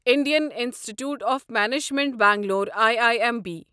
Indian institute of management Bangalore I I M B